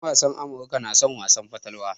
En wasan Amirka na son wasan fatalwa.